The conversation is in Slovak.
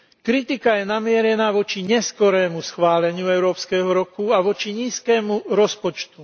Kritika je namierená voči neskorému schváleniu európskeho roku a voči nízkemu rozpočtu.